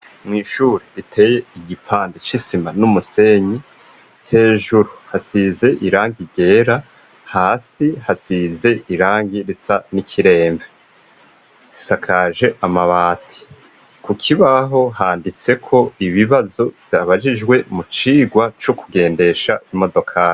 Mw'ishure riteye igipandi c'isima n'umusenyi hejuru hasize iranga igera hasi hasize irangi risa n'ikiremve isakaje amabati ku kibaho handitseko ibibazo vyabajijwe mu cirwa co kugendesha imoow.